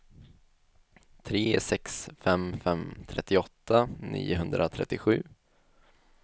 tre sex fem fem trettioåtta niohundratrettiosju